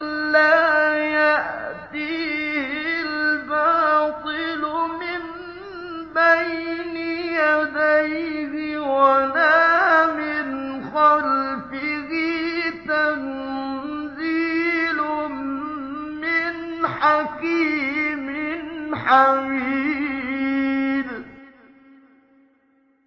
لَّا يَأْتِيهِ الْبَاطِلُ مِن بَيْنِ يَدَيْهِ وَلَا مِنْ خَلْفِهِ ۖ تَنزِيلٌ مِّنْ حَكِيمٍ حَمِيدٍ